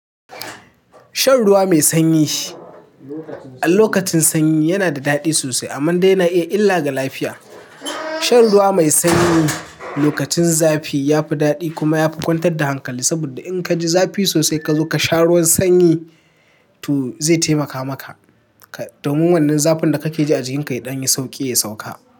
Shan ruwa mai sanyi a lokacin sanyi yana da daɗi sosai amma dai yana iya illa ga lafiya. Shan ruwa mai sanyi lokacin zafi yafi daɗi kuma yafi kwantar da hankali saboda inka ji zafi sosai kazo kasha ruwan sanyi to zai taimaka maka domin wannan zafin da kake ji a jikinka ya ɗanyi sauƙi ya sauka.